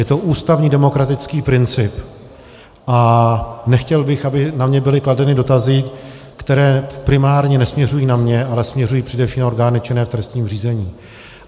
Je to ústavní demokratický princip a nechtěl bych, aby na mě byly kladeny dotazy, které primárně nesměřují na mě, ale směřují především na orgány činné v trestním řízení.